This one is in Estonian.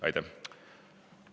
Aitäh!